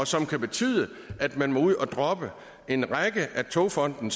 som kan betyde at man må ud at droppe en række af togfonden